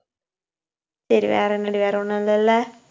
சரி, வேற என்னடி வேற ஒண்ணும் இல்லைல்ல